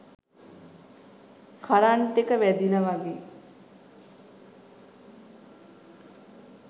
current එක වැදිලා වගේ